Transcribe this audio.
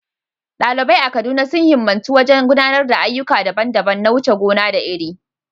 Ɗalibai a Kaduna sun himmatu wajen gudanar da ayyuka daban-daban na wuce gona da iri.